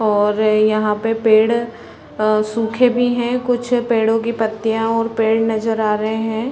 और यहाँ पे पेड़ अ सूखे भी है कुछ पेड़ो की पत्तिया और पेड़ नज़र आ रहे है।